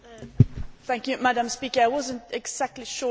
I was not exactly sure about the question.